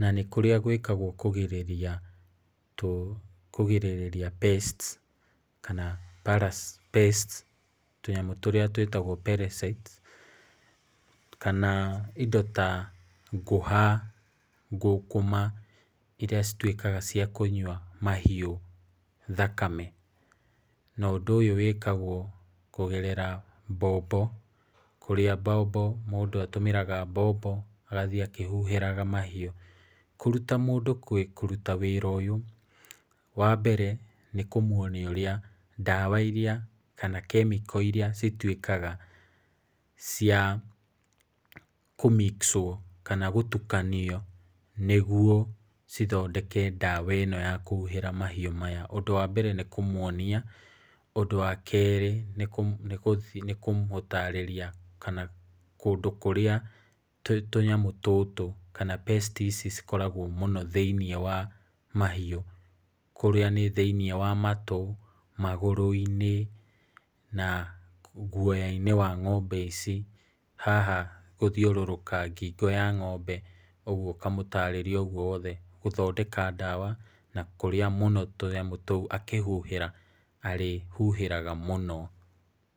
Na nĩ kũrĩa gũĩkagwo kũgĩrĩria, kũgĩrĩrĩria pests, kana pests. Tũnyamũ tũrĩa tũĩtagwo parasites, kana indo ta ngũha, ngũkũma, iria cituĩkaga cia kũnyua mahiũ thakame, na ũndũ ũyũ wĩkaguo kũgerera, mbombo. Kũrĩa mũndũ atũmagĩra mbombo agathiĩ akĩhuhagĩra mahiũ. Kũruta mũndũ kũruta wĩra ũyũ, wambere, nĩ kũmuonia ndawa iria, kana chemical iria cituĩkaga cia kũ mix -ũo, kana gũtukanio nĩguo cithondeke ndawa ĩno ya kũhuhĩra mahiũ maya. Ũndũ wambere nĩkũmuonia, ũndũ wakerĩ nĩ kũmũtarĩria kũndũ kũrĩa tũnyamũ tũtũ, kana pests ici cikoragwo mũno thĩinĩ wa mahiũ. Kũrĩa nĩ thĩinĩ wa matu, magũrũ-inĩ, na guoya-inĩ wa ngombe ici, haha gũthiũrũrũka ngingo ya ng'ombe. Ũguo, ngamũtarĩria ũguo wothe, gũthondeka ndawa, na kũrĩa mũno tũnyamũ tũu akĩhuhĩra arĩ huhagĩra mũno.